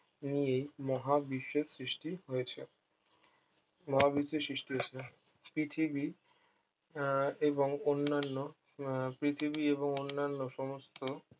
নিয়ে এই মহাবিশ্বের সৃষ্টি হয়েছে মহাবিশ্বের সৃষ্টি হয়েছে পৃথিবী আহ এবং অন্যান্য আহ পৃথিবী এবং অন্যান্য সমস্ত